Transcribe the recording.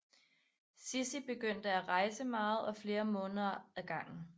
Sissi begyndte at rejse meget og flere måneder ad gangen